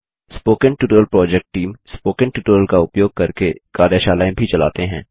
spoken tutorial project team spoken tutorial का उपयोग करके कार्यशालाएँ भी चलाते हैं